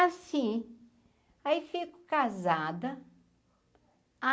Assim, aí fico casada.